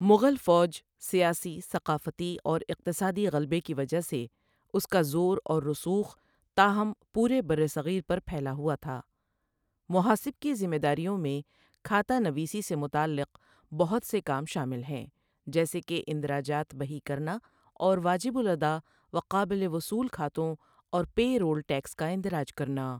مغل فوج، سیاسی، ثقافتی، اور اقتصادی غلبے کی وجہ سے اسکا زور اور رسوخ' تاہم' پورے برِّ صغیر پر پھیلا ہوا تھا محاسب کی ذمہ داریوں میں کھاتا نویسی سے متعلق بہت سے کام شامل ہیں، جیسے کہ اندراجات بہی کرنا اور واجب الاداء و قابل وصول کھاتوں اور پے رول ٹیکس کا اندراج کرنا۔